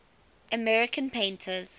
american painters